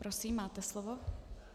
Prosím, máte slovo.